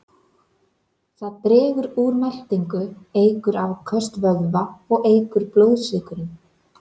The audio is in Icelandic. Það dregur úr meltingu, eykur afköst vöðva og eykur blóðsykurinn.